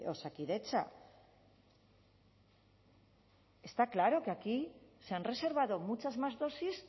osakidetza está claro que aquí se han reservado muchas más dosis